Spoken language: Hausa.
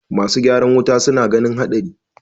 masu ygaran wuta suna ganin haɗari